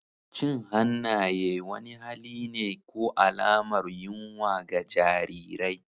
Cin hannaye wani hali ne ko alamar yunwa ga jarirai.